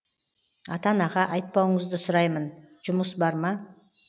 ата анаға айтпауыңызды сұраймын жұмыс бар ма